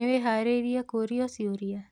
Nĩwĩharĩirie kũrio ciũria?